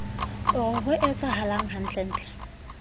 o re ho etsahalang hantlentle